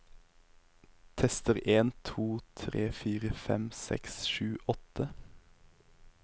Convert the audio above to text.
Tester en to tre fire fem seks sju åtte